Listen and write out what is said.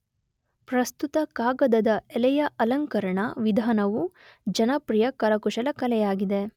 ಪ್ರಸ್ತುತ ಕಾಗದದ ಎಲೆಯ ಅಲಂಕರಣ ವಿಧಾನವು ಜನಪ್ರಿಯ ಕರಕುಶಲಕಲೆಯಾಗಿದೆ.